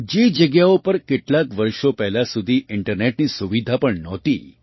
જે જગ્યાઓ પર કેટલાંક વર્ષો પહેલાં સુધી ઇન્ટરનેટની સુવિધા પણ નહોતી